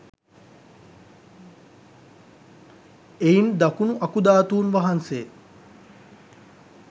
එයින් දකුණු අකුධාතුන් වහන්සේ